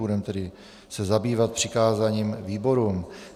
Budeme se tedy zabývat přikázáním výborům.